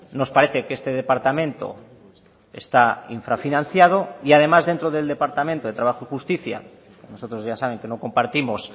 nos parece que este departamento está infrafinanciado y además dentro del departamento de trabajo y justicia nosotros ya saben que no compartimos